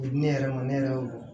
U bɛ di ne yɛrɛ ma ne yɛrɛ y'o